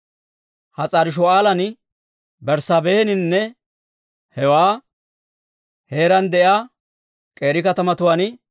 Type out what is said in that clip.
Has'aari-Shu'aalan, Berssaabeehaninne hewaa heeraan de'iyaa k'eeri katamatuwaan,